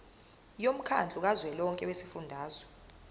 womkhandlu kazwelonke wezifundazwe